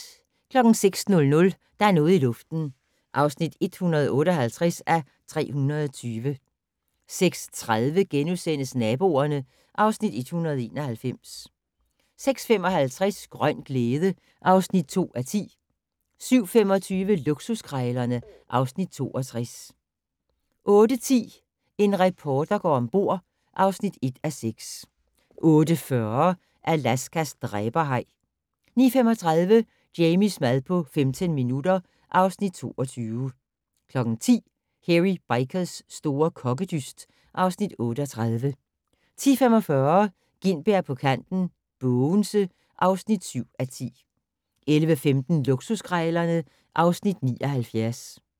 06:00: Der er noget i luften (158:320) 06:30: Naboerne (Afs. 191)* 06:55: Grøn glæde (2:10) 07:25: Luksuskrejlerne (Afs. 62) 08:10: En reporter går om bord (1:6) 08:40: Alaskas dræberhaj 09:35: Jamies mad på 15 minutter (Afs. 22) 10:00: Hairy Bikers' store kokkedyst (Afs. 38) 10:45: Gintberg på kanten - Bogense (7:10) 11:15: Luksuskrejlerne (Afs. 79)